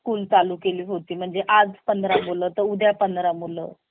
school चालू केली होती म्हणजे आज पंधरा मुलं तर उद्या पंधरा मुलं